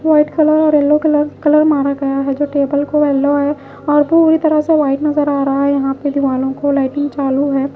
White colour और yellow colour colour मारा गया है जो टेबल को येलो है और पूरी तरह से वाइट नजर आ रहा है यहां पे दीवारों को लाइटिंग चालू है।